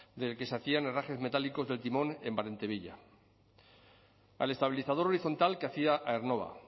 del que se hacían herrajes metálicos del timón en berantevilla al estabilizador horizontal que hacía aernnova